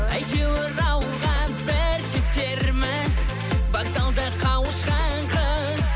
әйтеуір ауылға бір жетерміз вокзалда қауышқан қыз